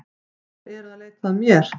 Þeir eru að leita að mér